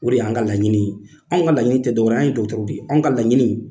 O de y'an ka laɲini ye anw ka laɲini tɛ dɔ wɛrɛ ye anw ye dɔkɔtɔrɔw de ye anw ka laɲini